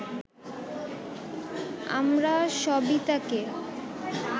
আমরা সবিতাকে